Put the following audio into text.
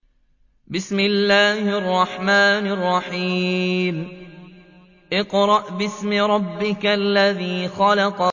اقْرَأْ بِاسْمِ رَبِّكَ الَّذِي خَلَقَ